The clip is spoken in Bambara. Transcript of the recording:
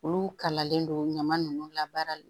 Olu kalalen don ɲama nunnu labaarali